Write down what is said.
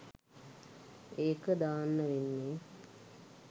ඒක දාන්න වෙන්නෙ